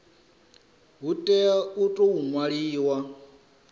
hu tea u tou ṅwaliwa